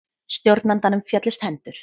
Stjórnandanum féllust hendur.